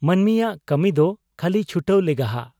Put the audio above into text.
ᱢᱟᱱᱢᱤᱭᱟᱜ ᱠᱟᱹᱢᱤᱫᱚ ᱠᱷᱟᱹᱞᱤ ᱪᱷᱩᱴᱟᱹᱣ ᱞᱮᱜᱟᱦᱟᱜ ᱾